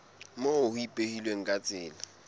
moo ho ipehilweng ka tsela